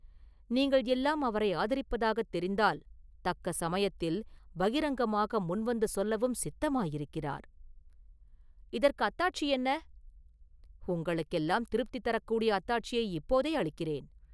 நீங்கள் எல்லாம் அவரை ஆதரிப்பதாகத் தெரிந்தால், தக்க சமயத்தில் பகிரங்கமாக முன்வந்து சொல்லவும் சித்தமாயிருக்கிறார்..” “இதற்கு அத்தாட்சி என்ன?” “உங்களுக்கெல்லாம் திருப்தி தரக்கூடிய அத்தாட்சியை இப்போதே அளிக்கிறேன்.